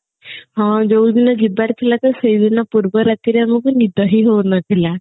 ହଁ ଯୋଉ ଦିନ ଯିବାର ଥିଲା ତ ସେଇଦିନ ପୂର୍ବ ରାତିରେ ଆମକୁ ନିଦ ହିଁ ହଉନଥିଲା